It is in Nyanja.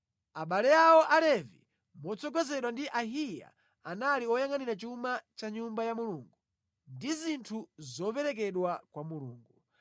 Abale awo Alevi, motsogozedwa ndi Ahiya, anali oyangʼanira chuma cha nyumba ya Mulungu ndi zinthu zoperekedwa kwa Mulungu.